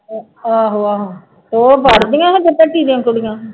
ਆਹੋ ਆਹੋ ਉਹ ਪੜ੍ਹਦੀਆਂ ਨੇ ਭੱਟੀ ਦੀਆਂ ਕੁੜੀਆਂ।